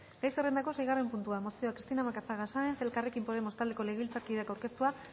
gai zerrendako seigarren puntua mozioa cristina macazaga sáenz elkarrekin podemos taldeko legebiltzarkideak aurkeztua